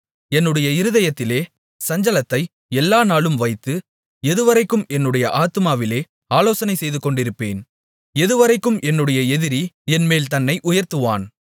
என்னுடைய இருதயத்திலே சஞ்சலத்தை எல்லா நாளும் வைத்து எதுவரைக்கும் என்னுடைய ஆத்துமாவிலே ஆலோசனை செய்துகொண்டிருப்பேன் எதுவரைக்கும் என்னுடைய எதிரி என்மேல் தன்னை உயர்த்துவான்